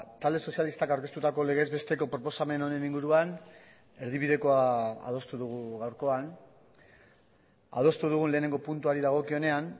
talde sozialistak aurkeztutako legez besteko proposamen honen inguruan erdibidekoa adostu dugu gaurkoan adostu dugun lehenengo puntuari dagokionean